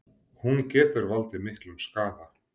Hún getur valdið miklum skaða.